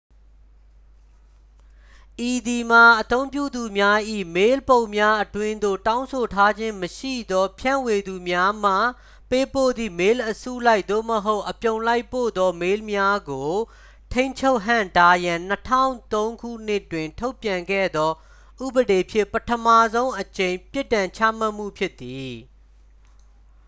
ဤသည်မှာ အသုံးပြုသူများ၏ မေးလ်ပုံးများအတွင်းသို့ တောင်းဆိုထားခြင်းမရှိသောဖြန့်ဝေသူများမှ ပေးပို့သည့် မေးလ်အစုလိုက် သို့မဟုတ် အပြုံလိုက်ပို့သော မေးလ်များကို ထိန်းချုပ်ဟန့်တားရန် 2003 ခုနှစ်တွင် ထုတ်ပြန်ခဲ့သော ဥပဒေဖြင့် ပထမဆုံးအကြိမ် ပြစ်ဒဏ်ချမှတ်မှုဖြစ်သည်